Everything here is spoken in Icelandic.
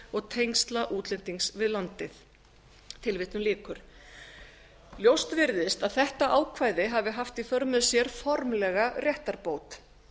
og tengsla útlendings við landið ljóst virðist að þetta ákvæði hafi haft í för með sér formlega réttarbót